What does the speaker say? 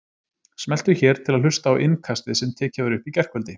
Smelltu hér til að hlusta á Innkastið sem tekið var upp í gærkvöldi